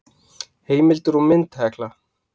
Heimildir og mynd Hekla.